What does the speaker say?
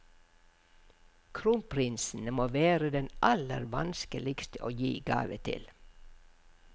Kronprinsen må være den aller vanskeligste å gi gave til.